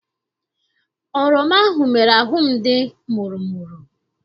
Oroma ahụ mere ahụ m dị mụrụ mụrụ.